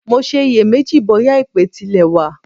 Mo ṣe iyè méjì bóyà èpè tilẹ̀ wà.